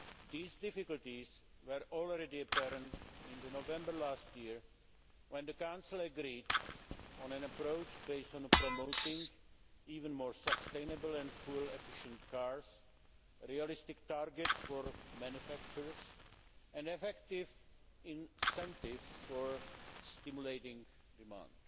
These difficulties were already apparent in November last year, when the Council agreed on an approach based on promoting even more sustainable and fuel efficient cars, realistic targets for manufacturers, and effective incentives for stimulating demand.